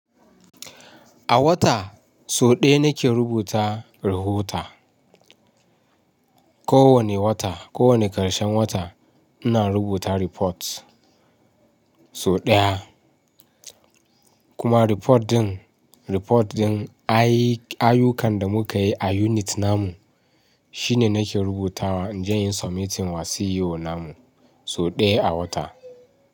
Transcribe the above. A wata, so ɗaya nake rubuta, rahota. Ko wane wata, ko wane ƙarshen wata, ina rubuta report, so ɗaya, kuma report ɗin, report ɗin anyi ayyukan da muka yi a unit namu. Shine nake rubutawa inje in submitting wa ceo namu, sau daya a wata.